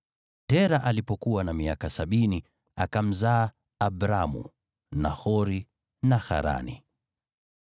Tera alipokuwa na miaka sabini, akamzaa Abramu, Nahori na Harani.